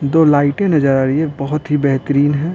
दो लाइटें नजर आ रही है बहुत ही बेहतरीन है।